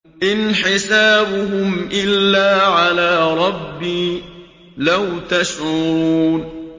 إِنْ حِسَابُهُمْ إِلَّا عَلَىٰ رَبِّي ۖ لَوْ تَشْعُرُونَ